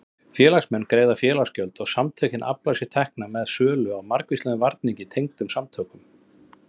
Félagsmenn greiða félagsgjöld og samtökin afla sér tekna með sölu á margvíslegum varningi tengdum samtökunum.